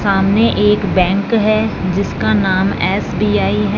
सामने एक बैंक है जिसका नाम एस_बी_आई है।